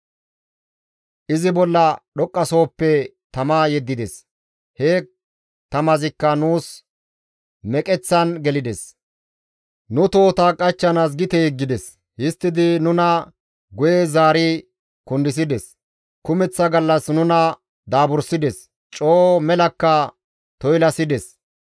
«Izi bolla dhoqqasohoppe tama yeddides; he tamazikka nuus meqeththan gelides; nu tohota qachchanaas gite yeggides; histtidi nuna guye zaari kundisides; kumeththa gallas nuna daaburssides; coo melakka toylasides.